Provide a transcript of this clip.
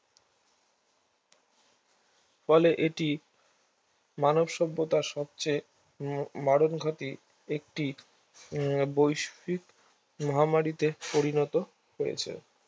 ফলে এটি মানবসভ্যতার সবচেয়ে মরণঘাতি একটি বৈশ্বিক মহামারীতে পরিণত হয়েছে